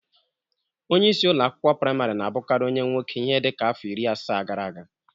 Onyeisi ụlọ akwụkwọ prịmarị na-abụkarị onye nwoke ihe dịka afọ iri asaa gara aga.